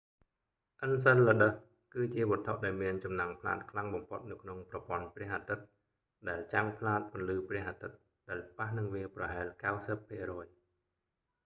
អឹនសិលឡឹដឹស enceladus គឺជាវត្ថុដែលមានចំណាំងផ្លាតខ្លាំងបំផុតនៅក្នុងប្រព័ន្ធព្រះអាទិត្យ ដែលចាំងផ្លាតពន្លឺព្រះអាទិត្យដែលប៉ះនឹងវាប្រហែល 90 ភាគរយ